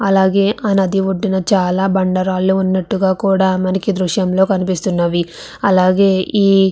అలాగే ఆయనది ఒడ్డున చాలా బండరాళ్లు ఉన్నట్టుగా కూడా మనకి దృశ్యంలో కనిపిస్తున్నవి అలాగే ఈ.